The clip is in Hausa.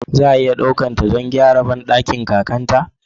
Za a iya ɗaukar ta don gyaran bandakin kakar kakarta?